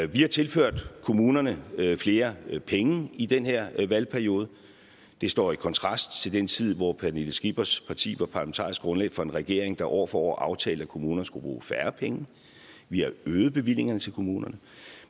vi har tilført kommunerne flere penge i den her valgperiode det står i kontrast til den tid hvor fru pernille skippers parti var parlamentarisk grundlag for en regering der år for år aftalte at kommunerne skulle bruge færre penge vi har øget bevillingerne til kommunerne